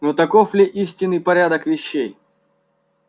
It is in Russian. но таков ли истинный порядок вещей